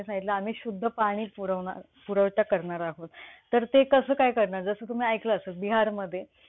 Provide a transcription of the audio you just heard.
मनवी व अमानवी वस्तीपासून दूर व भूगर्भात पाण्याचा साठा जवळपास नाही अशा निष्कर्षकारी राजस्थान मधील पोखरण भागाची निवड करण्यात आली.